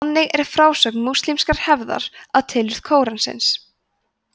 þannig er frásögn múslímskrar hefðar af tilurð kóransins